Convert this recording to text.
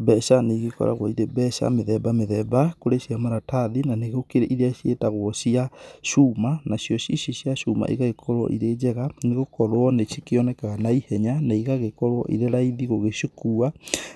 Mbeca nĩ igĩkoragwo irĩ mbeca mĩthemba mĩthemba, kũrĩ cia maratathi, na nĩ gũkĩrĩ irĩa ciĩtagwo cia cuma, nacio ici cia cuma igagĩkorwo irĩ njega nĩ gũkorwo nĩ cikĩonekaga na ihenya na igagĩkorwo irĩ raithi gũgĩcikua